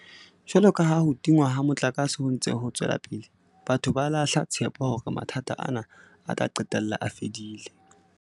Jwalo ka ha ho tingwa ha motlakase ho ntse ho tswela pele, batho ba lahla tshepo hore mathata ana a tla qetella a fedile.